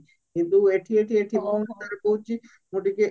କିନ୍ତୁ ଏଠି ଏଠି ଏଠି କହୁଛି ମୁଁ ଟିକେ